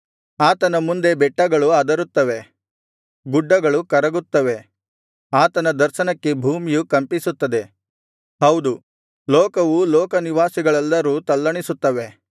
ಆತನ ಮುಂದೆ ಬೆಟ್ಟಗಳು ಅದರುತ್ತವೆ ಗುಡ್ಡಗಳು ಕರಗುತ್ತವೆ ಆತನ ದರ್ಶನಕ್ಕೆ ಭೂಮಿಯು ಕಂಪಿಸುತ್ತದೆ ಹೌದು ಲೋಕವೂ ಲೋಕನಿವಾಸಿಗಳೆಲ್ಲರೂ ತಲ್ಲಣಿಸುತ್ತವೆ